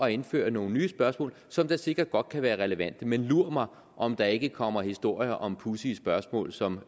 at indføre nogle nye spørgsmål som da sikkert godt kan være relevante men lur mig om der ikke komme historier om pudsige spørgsmål som